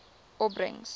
opbrengs